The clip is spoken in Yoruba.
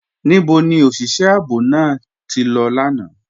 Níbò ni oṣiṣẹ̀ ààbò náà tí lọ lána?